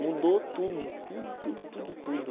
Mudou tudo, tudo, tudo, tudo, tudo.